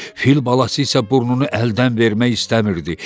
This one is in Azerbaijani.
Fil balası isə burnunu əldən vermək istəmirdi.